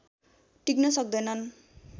टिक्न सक्दैनन्